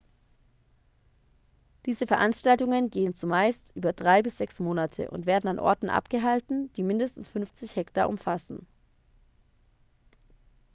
diese veranstaltungen gehen zumeist über drei bis sechs monate und werden an orten abgehalten die mindestens 50 hektar umfassen